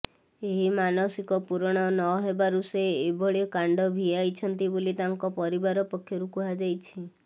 ଏହି ମାନସିକ ପୂରଣ ନହେବାରୁ ସେ ଏଭଳି କାଣ୍ଡ ଭିଆଇଛନ୍ତି ବୋଲି ତାଙ୍କ ପରିବାର ପକ୍ଷରୁ କୁହାଯାଇଛି